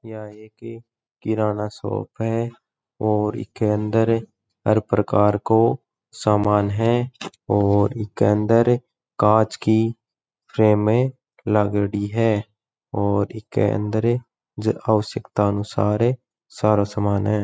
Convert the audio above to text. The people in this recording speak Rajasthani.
यहाँ एक किराना शॉप है और इके अंदर हर प्रकार को सामान है और इके अंदर कांच की फ्रेम लागेड़ी है और इके --